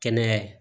Kɛnɛya